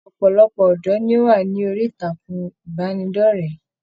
Ọpọlọpọ ọdọ ní o wa ni orí ìtàkùn ìbánidọ̀rẹ̀.